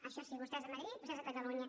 això sí vostès a madrid vostès a catalunya